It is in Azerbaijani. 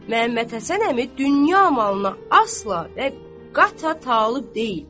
Məhəmməd Həsən əmi dünya malına asla və qəti talib deyil.